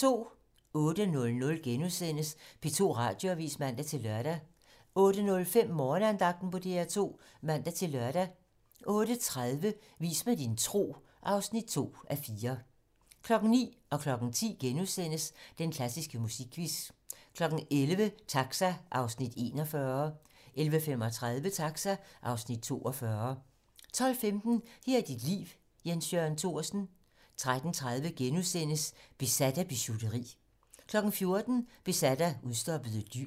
08:00: P2 Radioavis *(man-lør) 08:05: Morgenandagten på DR2 (man-lør) 08:30: Vis mig din tro (2:4) 09:00: Den klassiske musikquiz * 10:00: Den klassiske musikquiz * 11:00: Taxa (Afs. 41) 11:35: Taxa (Afs. 42) 12:15: Her er dit liv - Jens Jørgen Thorsen 13:30: Besat af bijouteri * 14:00: Besat af udstoppede dyr